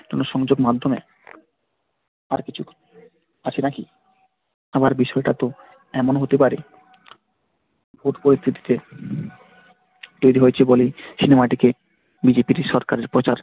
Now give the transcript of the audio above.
যেকোনো সংযোগের মাধ্যমে আর কিছু আছে নাকি? আবার বিষয়টা তো এমনও হতে পারে ওই পরিস্থিতিতে সিনেমাটি তৈরি হয়েছে বলে British সরকারের